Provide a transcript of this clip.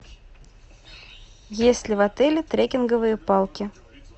есть ли в отеле трекинговые палки